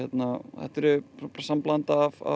þetta er samblanda af